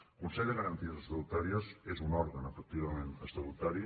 el consell de garanties estatutàries és un òrgan efectivament estatutari